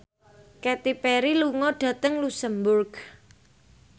Katy Perry lunga dhateng luxemburg